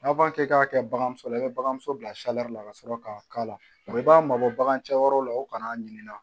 N'a fɔ k'e k'a kɛ bagan muso la i bɛ bagan so bila la ka sɔrɔ k'a k'a la i b'a mabɔ bagan cɛyɔrɔ la u kana'a ɲinika